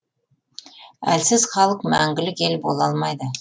әлсіз халық мәңгілік ел бола алмайды